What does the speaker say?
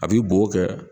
A b'i bo kɛ